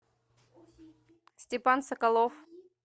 степан соколов